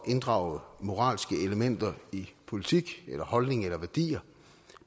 inddrage moralske elementer i politik holdning eller værdier